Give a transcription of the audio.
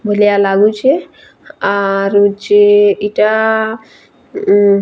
ଭଲିଆ ଲାଗୁଛେ ଆ ରୁ ଯେ ଇଟା ଉଁ--